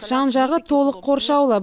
жан жағы толық қоршаулы